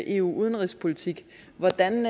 eu udenrigspolitik hvordan